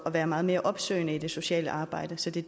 at være meget mere opsøgende i det sociale arbejde så det